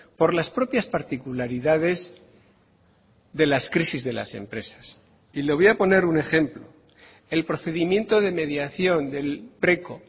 por las propias particularidades de las crisis de las empresas y le voy a poner un ejemplo el procedimiento de mediación del preco